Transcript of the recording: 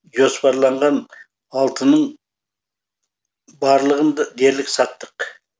жоспарланған алтынның барлығын дерлік саттық